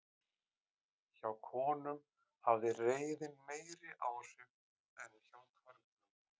hjá konum hafði reiðin meiri áhrif en hjá körlum